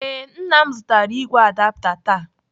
Ee, Nna m zụtara igwe adapta taa.